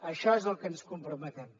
això és al que ens comprometem